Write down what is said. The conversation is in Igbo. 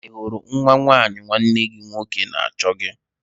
Ị hụrụ nwa nwanyị nwanne gị nwoke na-achọ gị?